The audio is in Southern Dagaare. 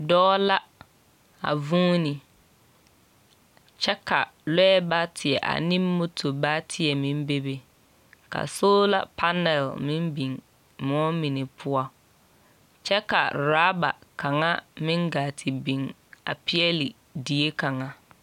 Dɔɔ la a vũũni kyɛ ka lɔɛ bateɛ ane moto bateɛ meŋ bebe ka soola panal meŋ biŋ moɔ mine poɔ kyɛ ka oraaba kaŋa meŋ gaa te biŋ a peɛle die kaŋa.